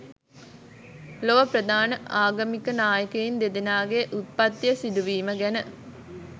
ලොව ප්‍රධාන ආගමික නායකයින් දෙදෙනාගේ උත්පත්තිය සිදුවීම ගැන